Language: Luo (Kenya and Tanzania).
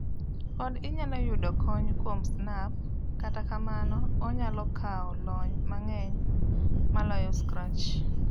Pod inyalo yudo kony kuom Snap kata kamano onyalo kawo lony mang'eny moloyo Scratch.